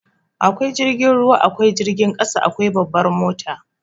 Akwai jirgin ruwa, akwai jirgin ƙasa, akwai babbar mota.